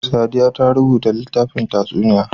Sadiya ta rubuta littafin tatsuniyoyi.